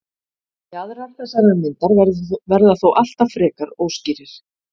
jaðrar þessarar myndar verða þó alltaf frekar óskýrir